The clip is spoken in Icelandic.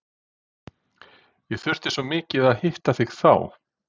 ég þurfti svo mikið að hitta þig þá.